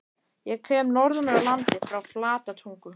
Ég kem norðan úr landi- frá Flatatungu.